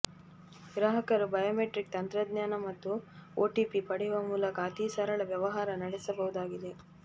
ಗ್ರಾಹಕರು ಬಯೋಮೆಟ್ರಿಕ್ ತಂತ್ರಜ್ಞಾನ ಮತ್ತು ಒಟಿಪಿ ಪಡೆಯುವ ಮೂಲಕ ಅತೀ ಸರಳ ವ್ಯವಹಾರ ನಡೆಸಬಹುದಾಗಿದೆ